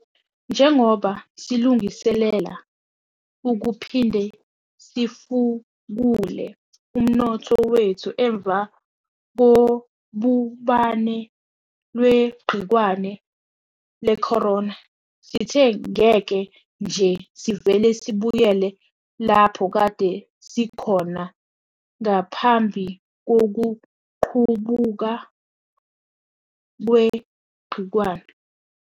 Njengoba silungiselela ukuphinde sifukule umnotho wethu emva kobhubhane lwegciwane lecorona, sithe ngeke nje sivele sibuyele lapho kade sikhona ngaphambi kokuqubuka kwegciwane.